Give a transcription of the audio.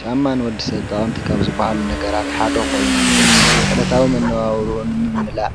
ጫማ ንወዲ ሰብ ጠቓምቲ ካብ ዝብሃሉ ነገራት ሓዶ ኾይኑ ወዲ ሰብ ዕለታዊ መነባብሩኡ ንምምላእ